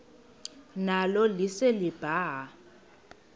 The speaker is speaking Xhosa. nalo lise libaha